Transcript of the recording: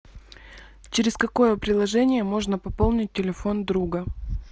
через какое приложение можно пополнить телефон друга